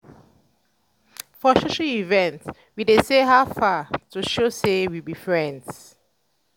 for social events we dey say "how far?" to show sey we be friends.